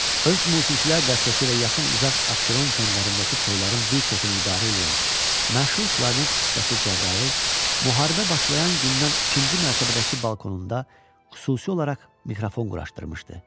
Öz musiqiçilər dəstəsi ilə yaxın-uzaq Abşeron kəndlərindəki toyaların bir çoxunu idarə eləyən məşhur klarnet ustası Cəbrayıl müharibə başlayan gündən ikinci mərtəbədəki balkonunda xüsusi olaraq mikrofon quraşdırmışdı.